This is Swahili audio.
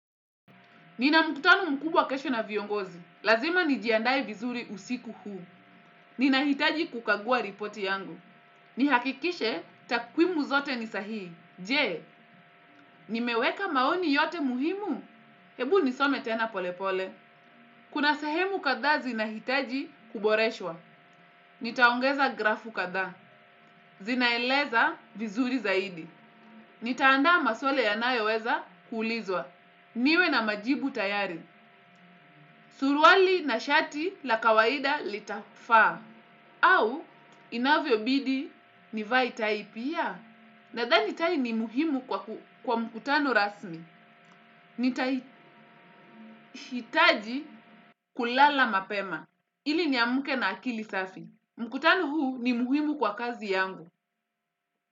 Nina mukutano mkubwa kesho na viongozi. Lazima nijiandae vizuri usiku huu. Ninahitaji kukagua ripoti yangu. Nihakikishe takwimu zote ni sahii. Je, nimeweka maoni yote muhimu. Hebu nisome tena polepole. Kuna sehemu kadha zinahitaji kuboreshwa. Nitaongeza grafu katha. Zinaeleza vizuri zaidi. Nitaandaa maswala yanayoweza kuulizwa. Niwe na majibu tayari. Suruali na shati la kawaida litafa au inavyobidi nivae tai pia. Nadha ni tai ni muhimu kwa mkutano rasmi. Nitahitaji kulala mapema. Ili niamke na akili safi. Mkutano huu ni muhimu kwa kazi yangu.